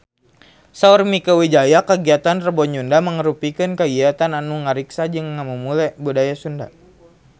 Saur Mieke Wijaya kagiatan Rebo Nyunda mangrupikeun kagiatan anu ngariksa jeung ngamumule budaya Sunda